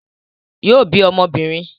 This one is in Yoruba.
Yóò bí ọmọ obìnrin